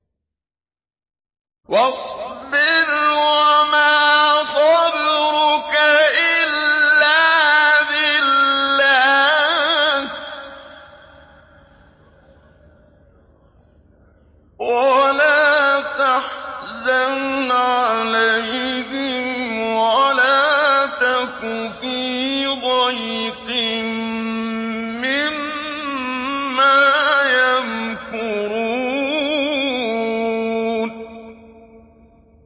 وَاصْبِرْ وَمَا صَبْرُكَ إِلَّا بِاللَّهِ ۚ وَلَا تَحْزَنْ عَلَيْهِمْ وَلَا تَكُ فِي ضَيْقٍ مِّمَّا يَمْكُرُونَ